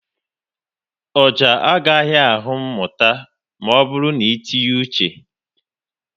Ọjà à ghaghị ahụ mmụta maọbụru n'itinye uche